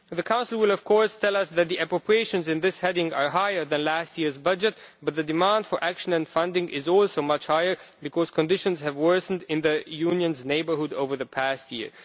The Council will tell us that the appropriations in this heading are higher than last year's budget, but the demand for action and funding is also much higher because conditions have worsened in the Union's neighbourhood over the past year.